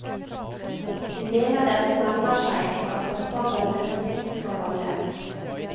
Vi mener dette nærmer seg en akseptabel løsning for alle.